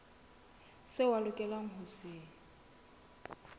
seo a lokelang ho se